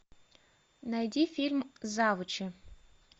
найди фильм завучи